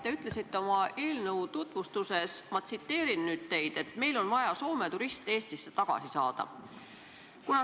Te ütlesite oma eelnõu tutvustades, ma tsiteerin teid: "Meil on vaja Soome turiste Eestisse tagasi saada.